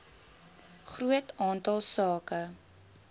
groot aantal sake